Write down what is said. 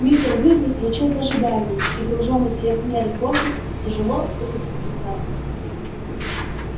мистер уизли включил зажигание и гружённый сверх меры фордик тяжело выкатил со двора